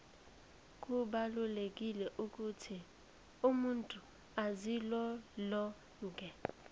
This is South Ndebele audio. kubalulekile ukuthi umuntu azilolonge